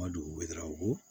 Ma dugu bɛ dawɔ